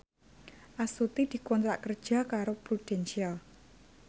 Astuti dikontrak kerja karo Prudential